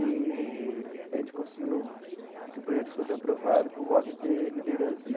Eee a gente conseguiu que o projeto fosse aprovado por voto de liderança né.